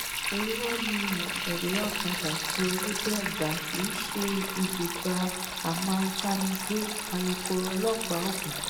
irọ ni mọwé ọkadà àti òwòdeẹgbà kì í ṣe ibùba àwọn ajànigbé alukoro ọlọ́pàá ògùn